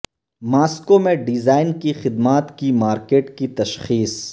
Moscow میں design کی خدمات کی مارکیٹ کی تشخیص